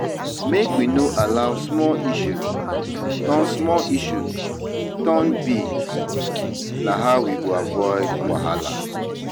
Make we no allow small issues turn small issues turn big; na how we go avoid wahala.